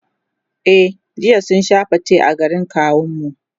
e jiya mun Sha fate a gidan kawun mu.